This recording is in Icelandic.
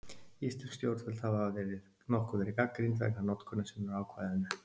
Íslensk stjórnvöld hafa nokkuð verið gagnrýnd vegna notkunar sinnar á ákvæðinu.